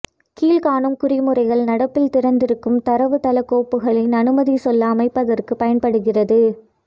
கீழ்காணும் குறிமுறைகள் நடப்பில் திறந்திருக்கும் தரவு தள கோப்புகளில் அனுமதி சொல்லை அமைப்பதற்கு பயன்படுகிறது